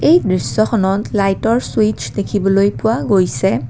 এই দৃশ্যখনত লাইটৰ ছুইচ দেখিবলৈ পোৱা গৈছে।